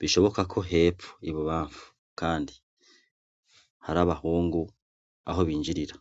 Bishoboka ko hepfo, ibubamfu kandi, hari abahungu aho binjirira.